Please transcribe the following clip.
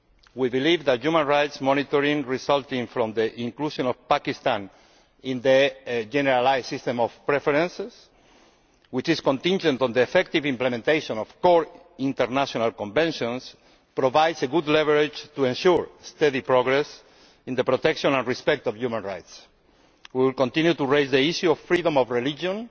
We believe that human rights monitoring resulting from the inclusion of Pakistan in the Generalised System of Preferences, which is contingent on the effective implementation of core international conventions, provides good leverage to ensure steady progress in the protection of respect for human rights. We will continue to raise the issue of freedom of religion